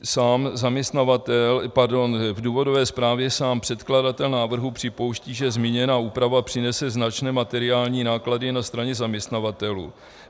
V důvodové zprávě sám předkladatel návrhu připouští, že zmíněná úprava přinese značné materiální náklady na straně zaměstnavatelů.